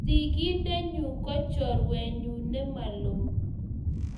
sigindenyu ko chorwenyu nemaloo